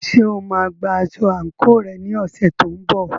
Ṣé o máa gba aṣọ àǹkóò rẹ ní ọ̀sẹ̀ tó ń bọ̀?